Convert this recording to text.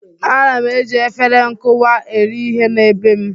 Ana m eji efere nkụwa eri ihe na be m.